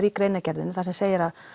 í greinargerðinni þar sem segir að